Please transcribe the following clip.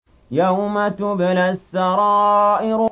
يَوْمَ تُبْلَى السَّرَائِرُ